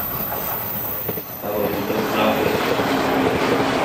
Tokorutos lakok